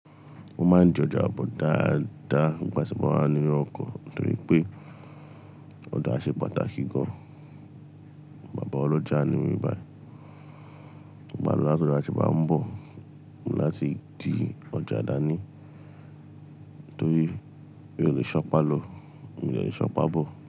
Mo máa ń di ọjà bọ̀ dáadáa nígbà tí mo wá ní ọkọ̀ nítorí pé ọjá ṣe pàtàkì gan. Bàbá Olójà ní mí báyìí. Bí m bá ń ló láti ọ̀ja tí ń bá ń bọ̀ mo ní láti di ọjà dání torí mí o lè sọ pá lọ, mí o dé lè sọ pá bọ̀